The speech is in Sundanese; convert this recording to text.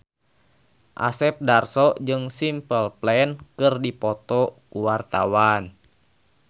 Asep Darso jeung Simple Plan keur dipoto ku wartawan